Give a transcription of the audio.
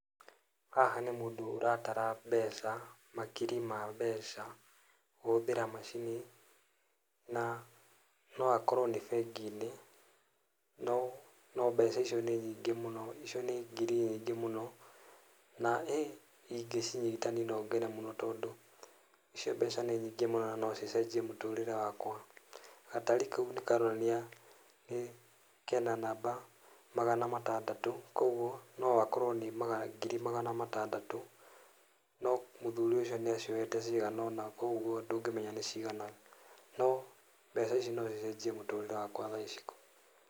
Haha nĩ mũndũ ũratara mbeca, makiri ma mbeca, kũhũthĩra macini, na no akorwo nĩ bengi-inĩ, no mbeca icio nĩ mbeca nyingĩ mũno, icio nĩ ngiri nyingĩ mũno, na ingĩcinyita no ngene mũno tondũ icio mbeca nĩ nyingĩ mũno na no cicenjie mũtũrĩre wakwa, gatari kau nĩ karonania kena namba magana matandatũ, koguo no gakorwo nĩ ngiri magana matandatũ, no mũthuri ũcio nĩ aciohete cigana ũna, koguo ndũngĩmenya nĩ cigana, no mbeca ici no cicenjie mũtũrĩre wakwa thaa ici.